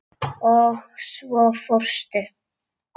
Og svo fórstu.